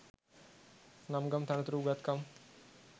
නම් ගම් තනතුරු උගත්කම්